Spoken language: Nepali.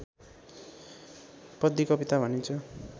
पद्य कविता भनिन्छ